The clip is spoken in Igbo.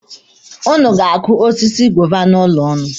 Ụnụ ga-akụ osisi goova n'ụlọ ụnụ.